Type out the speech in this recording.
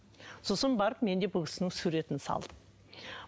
сосын барып мен де бұл кісінің суретін салдым